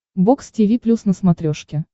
бокс тиви плюс на смотрешке